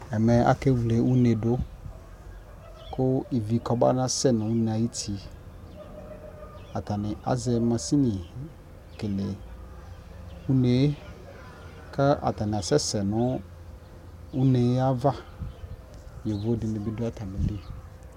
Ɛmɛ akewle une dʋ kʋ ivi kɔbanasɛ nʋ une ay'uti, atanɩ azɛ masini kele une kʋ atanɩ asɛsɛ nʋ une yɛ ava Yovo dɩnɩ bɩ dʋ atamili